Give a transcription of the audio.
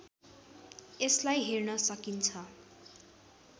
यसलाई हेर्न सकिन्छ